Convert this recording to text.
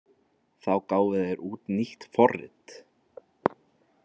Þá gáfu þeir út nýtt forrit.